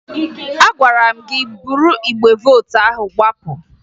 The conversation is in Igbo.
Agwara m gị buru igbe vootu ahụ gbapụ!